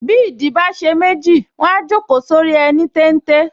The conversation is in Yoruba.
Bí ìdí bá ṣe méjì, wọ́n á jókòó sórí ẹní téńté